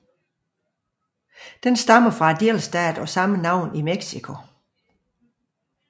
Den stammer fra delstaten af samme navn i Mexico